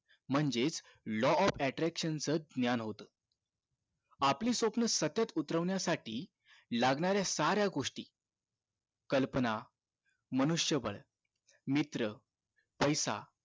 म्हणजेच law of attraction च ज्ञान होत आपली स्वप्न सत्यात उतरण्या साठी लागणाऱ्या साऱ्या गोष्टी कल्पना मनुष्य बळ मित्र पैसा